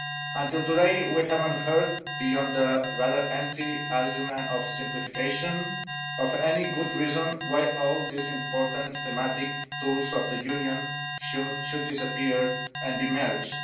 Until today, we have not heard beyond the rather empty argument of simplification of any good reason why all these important thematic tools of the Union should disappear and be merged.